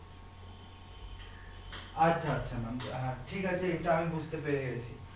আচ্ছা আচ্ছা maam আহ ঠিক আছে এটা আমি বুঝতে পেরে গেছি